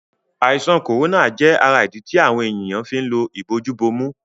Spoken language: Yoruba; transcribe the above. Àìsàn corona jé ará idí tí àwọn ènìyàn fín ló Ìbojú-bomú